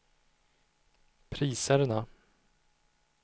priserna